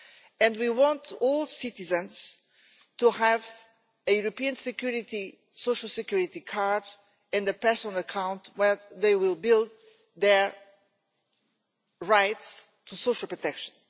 and we want all citizens to have a European social security card and a personal account where they will build their rights to social protection.